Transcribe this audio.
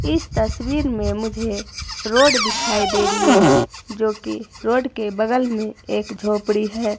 इस तस्वीर में मुझे रोड दिखाई दे रही है जो की रोड के बगल में एक झोपड़ी हैं।